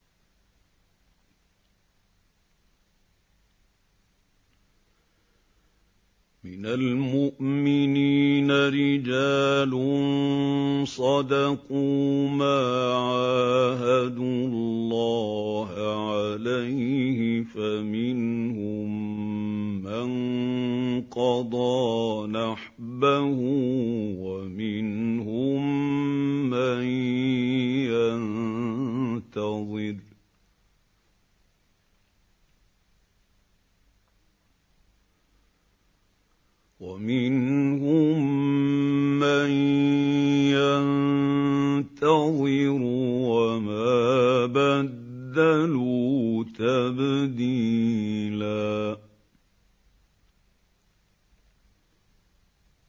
مِّنَ الْمُؤْمِنِينَ رِجَالٌ صَدَقُوا مَا عَاهَدُوا اللَّهَ عَلَيْهِ ۖ فَمِنْهُم مَّن قَضَىٰ نَحْبَهُ وَمِنْهُم مَّن يَنتَظِرُ ۖ وَمَا بَدَّلُوا تَبْدِيلًا